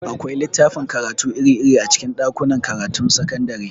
Akwai littafin karatu iri-iri a cikin ɗakunan karatun sakandare.